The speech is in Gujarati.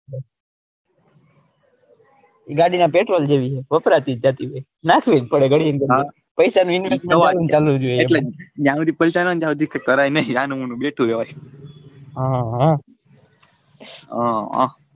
ગાડી ના પેટ્રોલ જેવી જ છે વપરાતી જ જતી હોય છે નાખવી જ પડે જ્યાં હુધી પૈસા ના હોય ત્યાં સુધી કઈ કરાય નઈ હનુમાનું બેઠુ રેવાય હમ